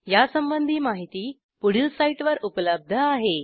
यासंबंधी माहिती पुढील साईटवर उपलब्ध आहे